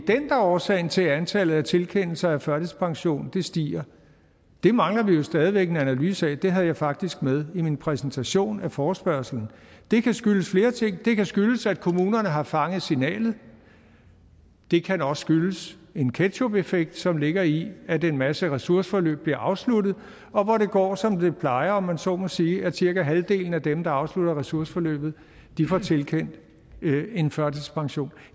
er årsag til at antallet af tilkendelser af førtidspension stiger mangler vi stadig en analyse af men det havde jeg faktisk med i min præsentation af forespørgslen og det kan skyldes flere ting det kan skyldes at kommunerne har fanget signalet det kan også skyldes en ketchupeffekt som ligger i at en masse ressourceforløb bliver afsluttet og hvor det går som det plejer om man så må sige nemlig at cirka halvdelen af dem der afslutter ressourceforløbet får tilkendt en førtidspension